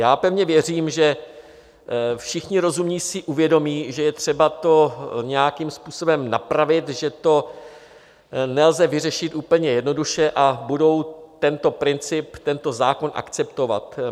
Já pevně věřím, že všichni rozumní si uvědomí, že je třeba to nějakým způsobem napravit, že to nelze vyřešit úplně jednoduše, a budou tento princip, tento zákon akceptovat.